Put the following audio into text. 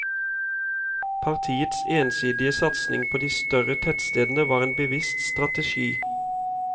Partiets ensidige satsing på de større tettstedene var en bevisst strategi.